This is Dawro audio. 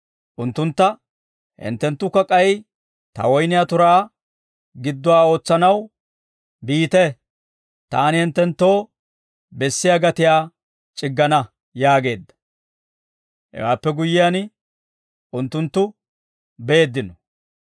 unttuntta, ‹Hinttenttukka k'ay ta woyniyaa turaa gidduwaa ootsanaw biite; taani hinttenttoo bessiyaa gatiyaa c'iggana› yaageedda; hewaappe guyyiyaan unttunttu beeddino.